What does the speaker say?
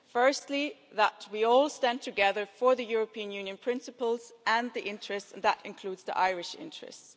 Firstly, that we all stand together for the European Union principles and interests and that includes the Irish interests.